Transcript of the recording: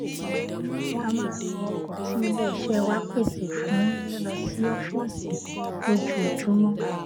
a máa ń lo ọkọ tí iléiṣẹ wa pèsè fún lílọ sí ófíìsì lójoojúmó